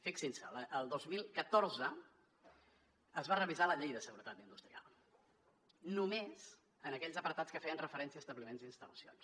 fixin s’hi el dos mil catorze es va revisar la llei de seguretat industrial només en aquells apartats que feien referència a establiments i instal·lacions